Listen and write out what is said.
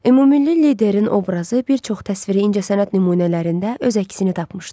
Ümummilli liderin obrazı bir çox təsviri incəsənət nümunələrində öz əksini tapmışdı.